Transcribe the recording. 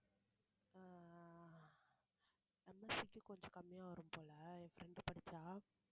ஆஹ் நம்ம city கொஞ்சம் கம்மியா வரும் போல என் friend படிச்சா